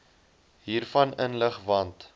hiervan inlig want